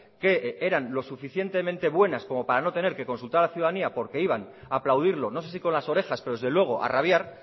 que eran lo suficientemente buenas como para no tener que consultar a la ciudadanía porque iban a aplaudirlo no sé si con las orejas pero desde luego a rabiar